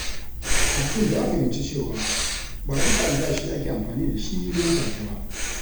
Abdul ya fahimci cewa ba duka albashi ake amfani da shi nan take ba.